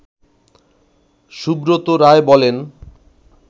সুব্রত রায় বলেন